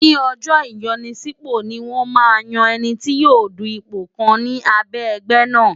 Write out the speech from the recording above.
Ní ọjọ́ ìyanisípò ni wọ́n máa ń yan ẹni tí yóò du ipò kan ni abẹ́ ẹgbẹ́ náà.